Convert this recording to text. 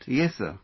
Yes sir